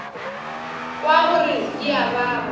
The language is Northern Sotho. kwa gore di a baba